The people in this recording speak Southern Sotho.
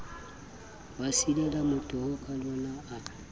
ba silela motoho kalona a